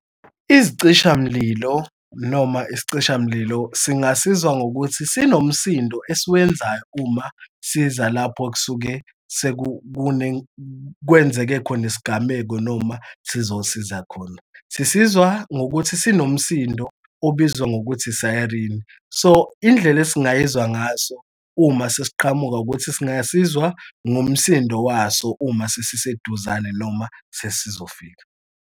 Isicishamlilo noma isicishamlilo singasizwa ngokuthi sinomasindi esiwenzayo uma siza lapho okusuke kwenzeke khona isigameko noma sizosiza khona. Sisizwa ngokuthi zinomsindo obizwa ngokuthi i-siren. So indlela esingayizwa ngaso uma sesiqhamuka ukuthi singasizwa ngomsindo waso uma sesiseduzane noma sesizofika.